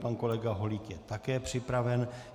Pan kolega Holík je také připraven.